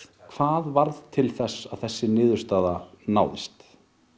hvað varð til þess að þessi niðurstaða náðist